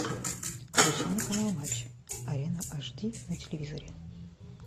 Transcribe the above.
включи мне канал матч арена аш ди на телевизоре